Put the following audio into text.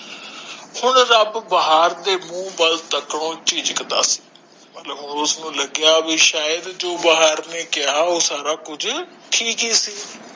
ਹੁਣ ਰੱਬ ਬਹਾਰ ਦੇ ਮੂੰਹ ਵਲੋਂ ਮਤਲਬ ਉਸ ਨੂੰ ਲਗਿਆ ਸ਼ਾਇਦ ਜੋ ਬਹਾਰ ਨੇ ਕਿਹਾ ਉਹ ਸਬ ਠੀਕ ਹੀ ਸੀ